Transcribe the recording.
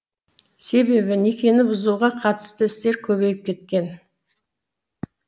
себебі некені бұзуға қатысты істер көбейіп кеткен